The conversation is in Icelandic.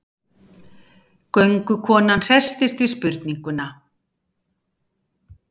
Göngukonan hresstist við spurninguna.